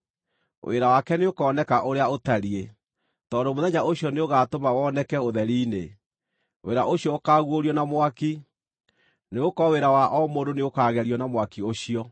wĩra wake nĩũkoneka ũrĩa ũtariĩ, tondũ Mũthenya ũcio nĩũgaatũma woneke ũtheri-inĩ. Wĩra ũcio ũkaaguũrio na mwaki, nĩgũkorwo wĩra wa o mũndũ nĩũkagerio na mwaki ũcio.